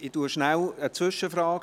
Ich stelle eine Zwischenfrage: